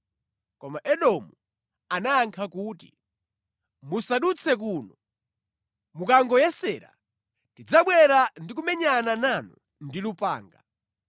Koma Edomu anayankha kuti, “Musadutse kuno: Mukangoyesera tidzabwera ndi kumenyana nanu ndi lupanga.”